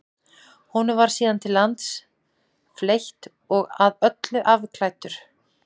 honum var síðan til lands fleytt og að öllu afklæddur